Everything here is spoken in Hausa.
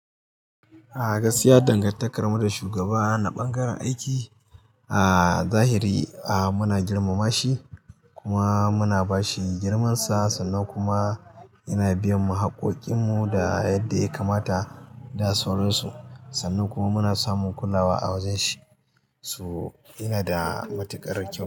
A gakiya dangantakarmu da shugaba na bangaren aiki, a zahiri a muna girmamashi kuma muna bashi girmansa sannan kuma yana biyan mu haƙƙokinmu da yadda ya kamata da sauransu. Sannan kuma muna samun kulawa a wajen shi, so yana da matuƙar kyau.